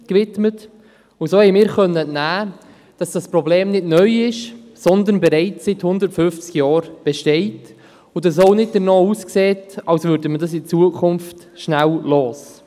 Dieser konnten wir entnehmen, dass dieses Problem nicht neu ist, sondern bereits seit 150 Jahren besteht, und dass es auch nicht danach aussieht, als würden wir es in Zukunft bald loswerden.